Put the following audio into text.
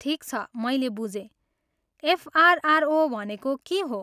ठिक छ, मैले बुझेँ। एफआरआरओ भनेको के हो?